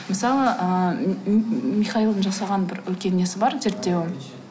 мысалы ыыы михаилдың жасаған бір үлкен несі бар зерттеуі